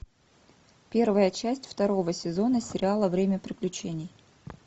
первая часть второго сезона сериала время приключений